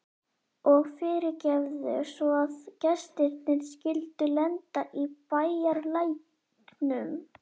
Og fyrirgefðu svo að gestirnir skyldu lenda í bæjarlæknum.